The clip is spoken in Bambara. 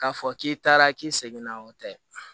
K'a fɔ k'i taara k'i seginna o tɛ